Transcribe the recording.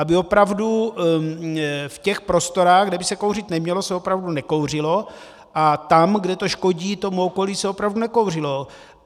Aby opravdu v těch prostorách, kde by se kouřit nemělo, se opravdu nekouřilo, a tam, kde to škodí tomu okolí, se opravdu nekouřilo.